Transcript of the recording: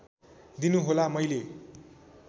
दिनु होला मैले